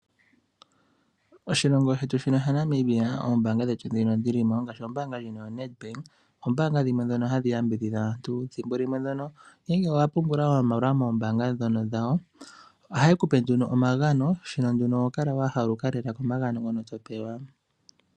Oshilongo shetu shino shaNamibia oombaanga dhili mo ngaashi ombaanga yetu ndjino yoNedbank ombaanga dhimwe dhono hadhi yambidhidha aantu ethimbo limwe ngele owapungula moombaanga dhono dhawo ohaye kupe nduno omagano moka ho kala wa haluka lela komagano goye.